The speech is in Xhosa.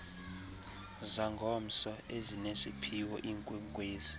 zangomso ezinesiphiwo iinkwenkwezi